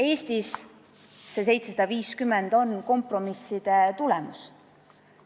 Eestis on see 750 eurot kompromisside tulemus.